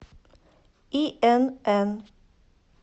инн